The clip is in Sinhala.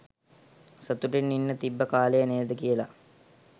සතුටෙන් ඉන්න තිබ්බ කාලය නේද කියල